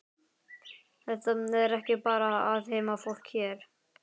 Þetta er ekki bara allt heimafólk hér?